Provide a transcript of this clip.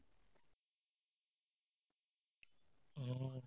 উম্, আৰু